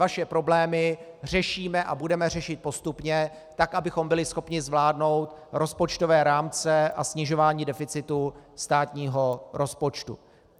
Vaše problémy řešíme a budeme řešit postupně tak, abychom byli schopni zvládnout rozpočtové rámce a snižování deficitu státního rozpočtu.